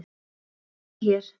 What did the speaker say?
Smella hér